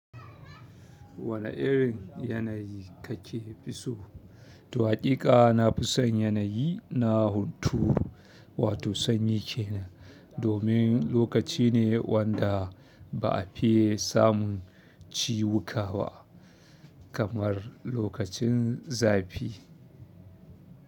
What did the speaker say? Wane irin yanayi kake fi so? Haƙiƙa na fi son yanayi na hunturu wato sanyi kenan domin lokaci ne wanda ba a fi samun ciwuka ba kamar lokacin zafi.